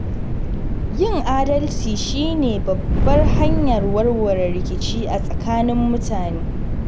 Yin adalci shi ne babbar hanyar warware rikici a tsakanin mutane.